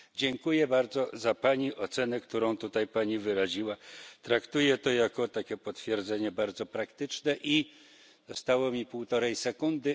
Dziękuję bardzo za pani ocenę, którą tutaj pani wyraziła, traktuję to jako takie potwierdzenie bardzo praktyczne i, zostało mi półtorej sekundy.